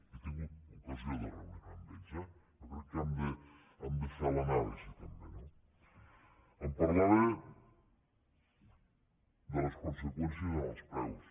he tingut ocasió de reunir me amb ells eh jo crec que hem de fer l’anàlisi també no em parlava de les conseqüències en els preus